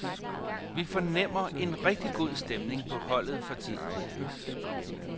Vi fornemmer en rigtig god stemning på holdet for tiden.